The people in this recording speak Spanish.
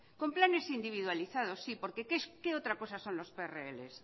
con planes individualizados sí por qué otra cosa son los prl